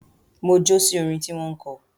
Mo jó sí orin tí wọ́n kọ